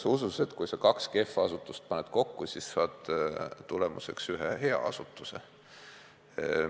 On usutud, et kui sa kaks kehva asutust paned kokku, siis saad tulemuseks ühe hea asutuse.